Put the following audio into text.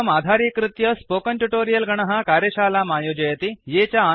पाठमिमं आधारीकृत्य spoken tutorial गणः कार्यशालाम् आयोजयति